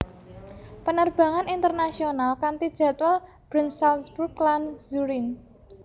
Penerbangan internasional kanti jadwal Bern Salzburg lan Zurich